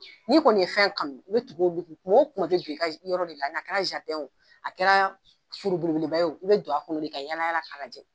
Ni kɔni ye fɛn kanu i bɛ tugu kumaw kuman i bɛ don i ka yɔrɔ a kɛra a kɛra forobelebeleba ye i bɛ don a kɔnɔ de ka yaala yaala k' lajɛ.